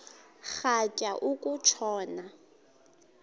rhatya uku tshona